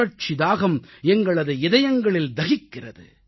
புரட்சி தாகம் எங்களது இதயங்களில் தகிக்கிறது